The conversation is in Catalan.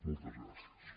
moltes gràcies